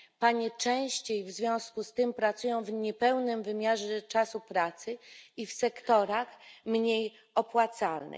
Panie częściej w związku z tym pracują w niepełnym wymiarze czasu pracy i w sektorach mniej opłacalnych.